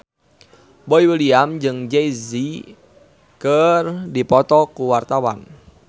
Boy William jeung Jay Z keur dipoto ku wartawan